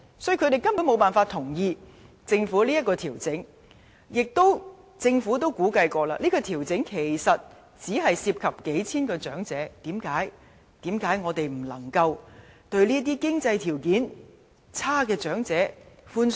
"所以，他們根本無法同意政府這項調整，而政府也曾估計，這項調整只涉及數千名長者，為何我們不能寬鬆一點去對待這些經濟條件較差的長者呢？